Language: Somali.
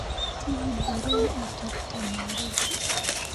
tigidh tareen u jarto nairobi